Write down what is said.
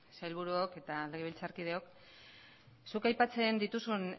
sailburuok eta legebiltzarkideok zuk aipatzen dituzun